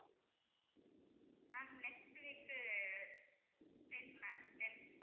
ma'am next week uh ten ma'am ten